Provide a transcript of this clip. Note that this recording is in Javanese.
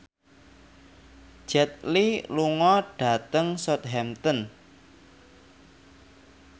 Jet Li lunga dhateng Southampton